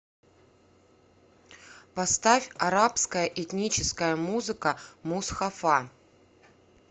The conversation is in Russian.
поставь арабская этническая музыка мусхафа